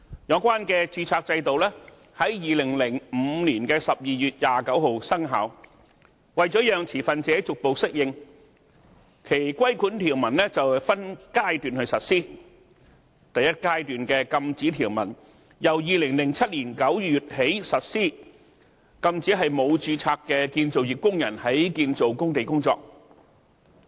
有關註冊制度在2005年12月29日生效，為了讓持份者逐步適應，其規管條文分階段實施，第一階段的禁止條文由2007年9月起實施，禁止沒有註冊的建造業工人在建造工地工作。